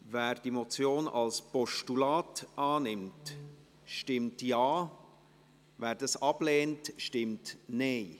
Wer die Motion als Postulat annimmt, stimmt Ja, wer dies ablehnt, stimmt Nein.